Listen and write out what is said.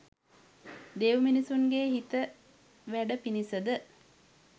දෙව් මිනිසුන්ගේ හිත වැඩ පිණිස ද